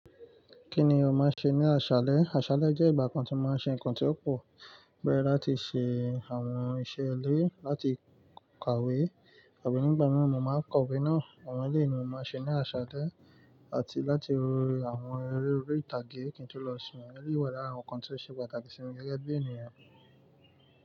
Kí ni ọmọ ṣe ní aṣálẹ́? Aṣálẹ́ jẹ́ ìgbà kan tí mo máa ń ṣe ǹkan tí ó pò, bẹ̀rẹ̀ láti ṣe àwọn iṣẹ́ ilé, láti kàwé, àbí nígbà mìíràn mo máa ń kàwé náà. Àwọn eléyìí ni mo máa ń ṣe ní aṣálẹ́, àti láti wo àwọn eré orí ìtàgé kí n tó lọ sùn. Àwọn eléyìí wà lára àwọn ǹkan tí ó ṣe pàtàkì sí mi gẹ́gẹ́ bí ènìyàn.